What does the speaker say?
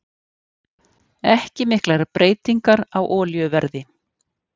Ekki miklar breytingar á olíuverði